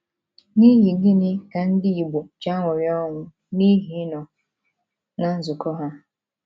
N’ihi gịnị ka Ndị Igbo ji aṅụrị ọṅụ n’ihi ịnọ ná nzukọ ha?